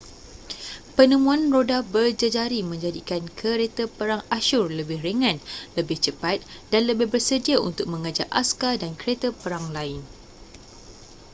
penemuan roda berjejari menjadikan kereta perang asyur lebih ringan lebih cepat dan lebih bersedia untuk mengejar askar dan kereta perang lain